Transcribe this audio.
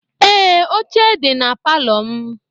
Ee, oche dị na palọ m.